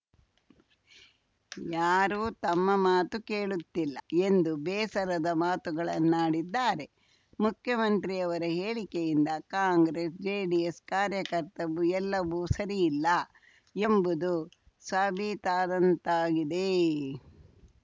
ಯಾರೂ ತಮ್ಮ ಮಾತು ಕೇಳುತ್ತಿಲ್ಲ ಎಂದು ಬೇಸರದ ಮಾತುಗಳನ್ನಾಡಿದ್ದಾರೆ ಮುಖ್ಯಮಂತ್ರಿಯವರ ಹೇಳಿಕೆಯಿಂದ ಕಾಂಗ್ರೆಸ್‌ಜೆಡಿಎಸ್‌ ಕಾರ್ಯಕರ್ತಬು ಎಲ್ಲಬು ಸರಿ ಇಲ್ಲ ಎಂಬುದು ಸಾಬೀತಾದಂತಾಗಿದೆ